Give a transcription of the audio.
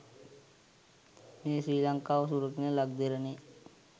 මේ ශ්‍රී ලංකාව සුරකින ලක්දෙරණේ